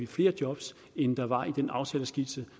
flere job end der var i den aftaleskitse